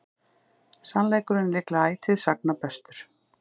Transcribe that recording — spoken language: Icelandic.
Sannleikurinn er líklega ætíð sagna bestur.